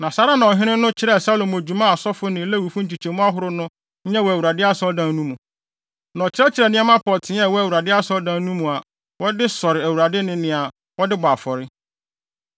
Saa ara na ɔhene no kyerɛɛ Salomo dwuma a asɔfo ne Lewifo nkyekyɛmu ahorow no nyɛ wɔ Awurade Asɔredan no mu. Na ɔkyerɛkyerɛɛ nneɛma pɔtee a ɛwɔ Awurade Asɔredan no mu a wɔde sɔre Awurade ne nea wɔde bɔ afɔre.